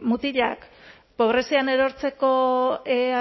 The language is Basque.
mutilak pobrezian erortzeko